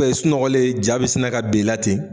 Ubɛn i sunɔgɔlen ja bi sina ka ben i la ten